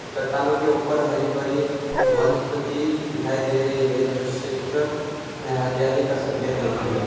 चट्टानों के ऊपर हरी भरी वनस्पति दिखाई दे रहीं हैं जो क्षेत्र में हरियाली का संकेत देती है।